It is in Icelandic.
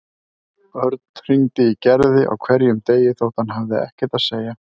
Örn hringdi í Gerði á hverjum degi þótt hann hafði ekkert að segja.